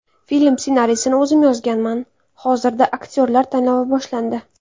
Film ssenariysini o‘zim yozganman, hozirda aktyorlar tanlovi boshlandi.